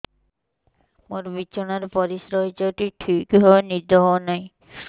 ମୋର ବିଛଣାରେ ପରିସ୍ରା ହେଇଯାଉଛି ଠିକ ଭାବେ ନିଦ ହଉ ନାହିଁ